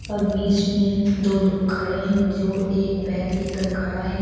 और बीच में दो लोग खड़े हैं जो एक बैग लेकर खड़ा है।